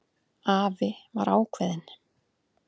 Afi var ákveðinn.